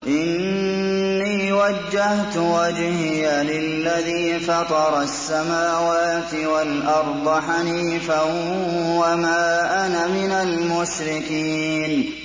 إِنِّي وَجَّهْتُ وَجْهِيَ لِلَّذِي فَطَرَ السَّمَاوَاتِ وَالْأَرْضَ حَنِيفًا ۖ وَمَا أَنَا مِنَ الْمُشْرِكِينَ